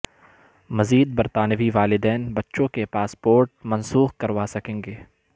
مزید برطانوی والدین بچوں کے پاسپورٹ منسوخ کروا سکیں گے